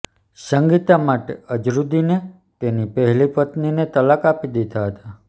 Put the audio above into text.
સંગીતા માટે અઝહરુદીને તેની પહેલી પત્નીને તલાક આપી દીધા હતા